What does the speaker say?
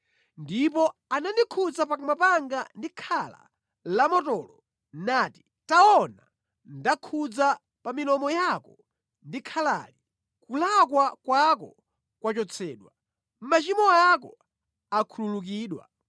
Ndipo anandikhudza pakamwa panga ndi khala lamotolo nati, “Taona ndakhudza pa milomo yako ndi khalali; kulakwa kwako kwachotsedwa, machimo ako akhululukidwa.”